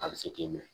A bɛ se k'i minɛ